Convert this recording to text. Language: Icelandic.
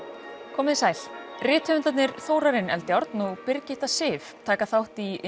komiði sæl rithöfundarnir Þórarinn Eldjárn og Birgitta Sif taka þátt í